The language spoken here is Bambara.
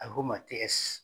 A bɛ f'o ma